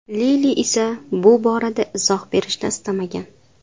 Lili esa bu borada izoh berishni istamagan.